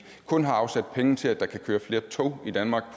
kun har afsat penge til at der kan køre flere tog i danmark